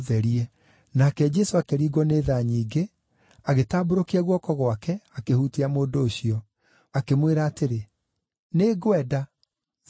Nake Jesũ akĩringwo nĩ tha nyingĩ, agĩtambũrũkia guoko gwake akĩhutia mũndũ ũcio. Akĩmwĩra atĩrĩ, “Nĩ ngwenda. Therio.”